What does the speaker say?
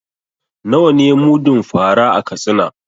Nawa ne mudun fa ra a Katsina?